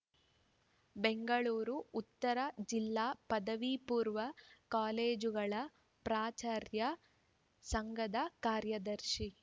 ಬೆಂಗಳೂರು ಉತ್ತರ ಜಿಲ್ಲಾ ಪದವಿ ಪೂರ್ವ ಕಾಲೇಜುಗಳ ಪ್ರಾಚಾರ್ಯರ ಸಂಘದ ಕಾರ್ಯದರ್ಶಿ